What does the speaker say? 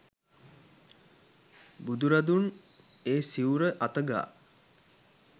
බුදුරදුන් ඒ සිවුර අත ගා